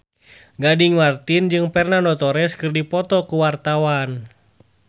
Gading Marten jeung Fernando Torres keur dipoto ku wartawan